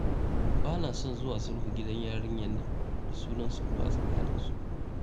Ba na son zuwa sulhu gidan yarinyar nan da sunan sulhu a tsakaninsu.